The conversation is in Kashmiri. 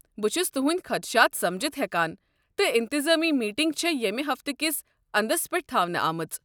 بہٕ چھُس تُہٕنٛدۍ خدشات سمجتھ ہیكان، تہٕ انتنظٲمی میٖٹنگ چھےٚ ییٚمہِ ہفتہٕ کس انٛدس پٮ۪ٹھ تھاونہٕ آمٕژ۔